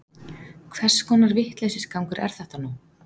Hvers konar vitleysisgangur er þetta nú?